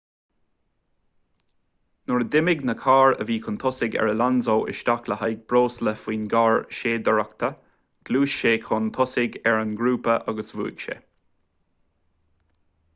nuair a d'imigh na cairr a bhí chun tosaigh ar alonso isteach le haghaidh breosla faoin gcarr séidaireachta ghluais sé chun tosaigh ar an ngrúpa agus bhuaigh sé